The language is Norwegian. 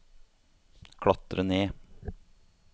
klatre ned